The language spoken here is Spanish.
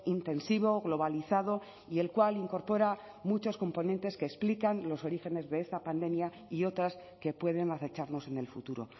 intensivo globalizado y el cual incorpora muchos componentes que explican los orígenes de esta pandemia y otras que pueden acecharnos en el futuro